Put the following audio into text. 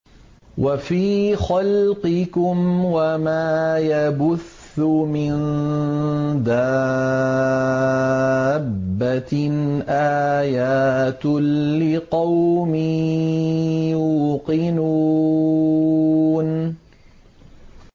وَفِي خَلْقِكُمْ وَمَا يَبُثُّ مِن دَابَّةٍ آيَاتٌ لِّقَوْمٍ يُوقِنُونَ